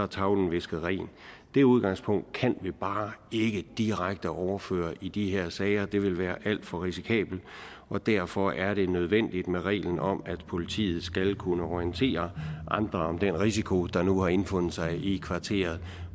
tavlen visket ren det udgangspunkt kan vi bare ikke direkte overføre i de her sager for det vil være alt for risikabelt og derfor er det nødvendigt med reglen om at politiet skal kunne orientere andre om den risiko der nu har indfundet sig i kvarteret